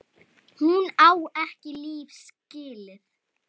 Hún á ekki líf skilið.